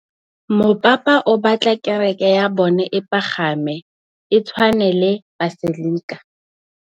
Mopapa o batla kereke ya bone e pagame, e tshwane le paselika.